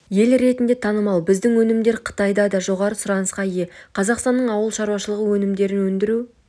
ел ретінде танымал біздің өнімдер қытайда да жоғары сұранысқа ие қазақстанның ауыл шаруашылығы өнімдерін өндіру